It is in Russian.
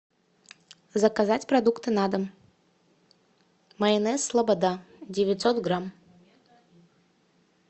заказать продукты на дом майонез слобода девятьсот грамм